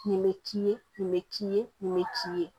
Nin bɛ k'i ye nin bɛ k'i ye nin bɛ k'i ye